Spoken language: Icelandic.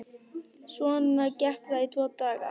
Svona gekk það í tvo daga.